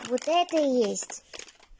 вот это и есть